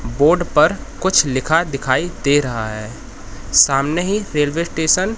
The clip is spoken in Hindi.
बोर्ड पर कुछ लिखा दिखाई दे रहा है सामने ही रेलवे स्टेशन --